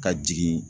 Ka jigin